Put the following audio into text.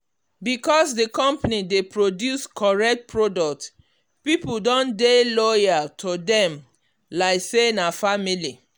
because the company dey produce correct product people don dey loyal to them like say na family.